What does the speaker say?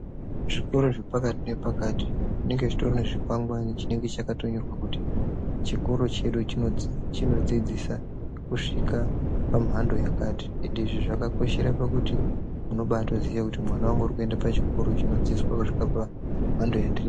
Zvikora zvepakati nepakati zvinenge zvine chikwangwari chinenge chakanyorwa kuti chikora chedu chinodzidzisa kusvika pamhando yakati ende izvi zvakakoshera pakuti unobaziva kuti mwana wangu akuenda pachikora chinosvika pamhando yakadai.